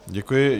Děkuji.